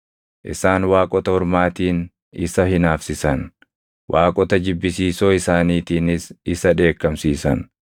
Isaan waaqota ormaatiin isa hinaafsisan; waaqota jibbisiisoo isaaniitiinis isa dheekkamsiisan.